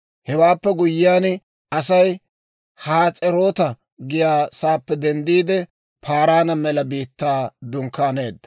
Hewaappe guyyiyaan, Asay Has'eroota giyaa saappe denddiide, Paaraana mela biittaa dunkkaaneedda.